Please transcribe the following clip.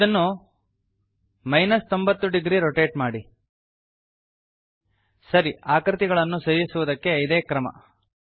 ಇದನ್ನು 90 degree rotate ಮಾಡಿ ಸರಿ ಆಕೃತಿಗಳನ್ನು ಸೇರಿಸುವುದಕ್ಕೆ ಇದೇ ಕ್ರಮ